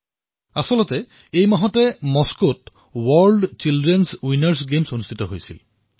দৰাচলতে এই মাহত মস্কোত বিশ্ব শিশু বিজয়ী ক্ৰীড়াৰ আয়োজন হৈছিল